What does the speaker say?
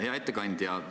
Hea ettekandja!